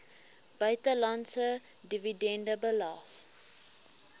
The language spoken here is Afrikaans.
buitelandse dividende belas